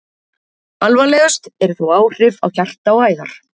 Alvarlegust eru þó áhrif á hjarta og æðar.